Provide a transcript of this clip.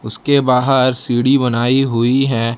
उसके बाहर सीढ़ी बनाई हुई है।